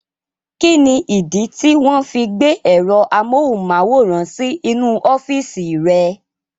Kíni ìdí tí wọ́n fi gbé ẹ̀rọ amóhùnmáwòrán sí inú ọ́fìsì rẹ̀?